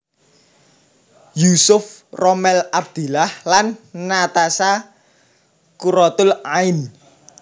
Yusuf Rommel Abdillah lan Natasha Quratul Ain